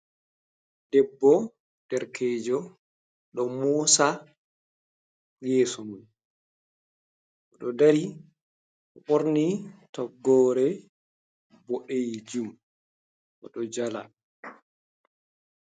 Debbo derekeejo ɗo moosa yeeso mum, o ɗo dari ɓorni toggoore boɗeejum, o ɗo jala.